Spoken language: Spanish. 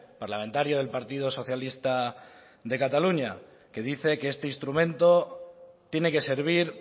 parlamentario del partido socialista de cataluña que dice que este instrumento tiene que servir